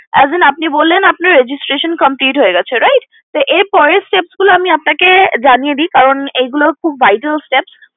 As an আপনি বললেন আপনার registration complete হয়ে গিয়েছে right তো এর পরের steps গুলো আমি আপনাকে জানিয়ে দেই কারণ এগুলো খুব vital steps